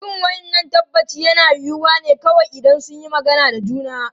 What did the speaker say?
Irin wannan tabbaci yana yiwuwa ne kawai idan sun yi magana da juna.